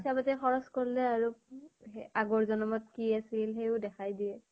পইছা পাতি খৰছ কৰলে আৰু উ এ আগৰ জন্মত কি আছিল, সেও দেখাই দিয়ে ।